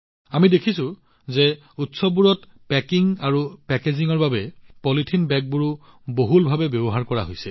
আমি দেখিছোঁ যে উৎসৱবোৰত পেকিং আৰু পেকেজিঙৰ বাবে পলিথিন বেগবোৰো বহুলাংশে ব্যৱহাৰ কৰা হৈছে